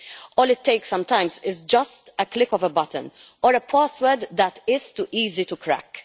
All it takes sometimes is just a click of a button or a password that is too easy to crack.